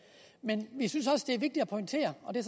men vi synes også det er vigtigt at pointere og det